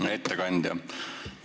Hea ettekandja!